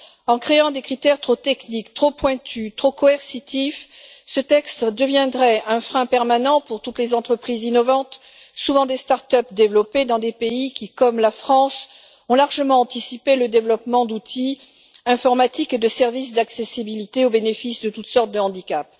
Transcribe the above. En créant des critères trop techniques, trop pointus, trop coercitifs, ce texte deviendrait un frein permanent pour toutes les entreprises innovantes, souvent des start up développées dans des pays qui, comme la France, ont largement anticipé le développement d'outils informatiques et de services d'accessibilité au bénéfice de toutes sortes de handicap.